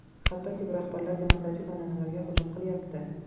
Hattoki, bu rahbarlar demokratik an’analarga hujum qilyapti.